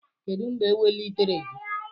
Kedu mgbe ewelitere gị?